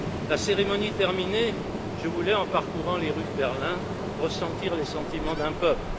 La cérémonie terminée, je voulais, en parcourant les rues de Berlin, ressentir les sentiments d'un peuple.